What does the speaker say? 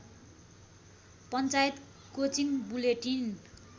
panchayat coaching bulletin